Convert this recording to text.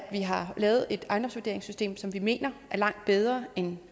vi har lavet et ejendomsvurderingssystem som vi mener er langt bedre end